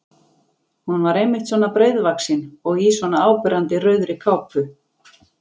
Hún var einmitt svona breiðvaxin og í svona áberandi rauðri kápu!